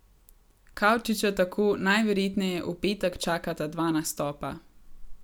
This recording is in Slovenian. Kavčiča tako najverjetneje v petek čakata dva nastopa.